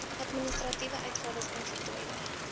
administratiewe uitgawes onvoltooide